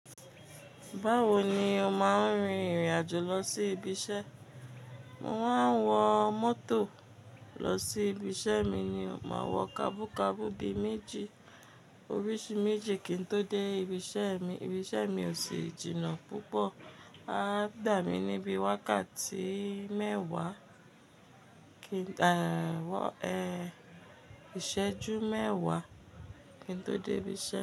Báwo ni o máa ń rin ìrìn àjò lọ sí ibi iṣẹ́? Mo máa ń wọ mọ́tò lọ sí ibi iṣẹ́ mi ni o maa wọ kabú kabú bi méjì, oríṣi méjì kí n tó dé ibi iṣẹ́ mi ibi iṣẹ́ mi ò sí jìnà púpọ̀, a dà mí níbi wákàtí mẹ́wàá. Kí, eh, ìṣẹ́jú mẹ́wàá kí n tó dé ibi iṣẹ́.